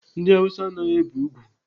Ndị Awụsa anaghịkwa ebe ùgwù.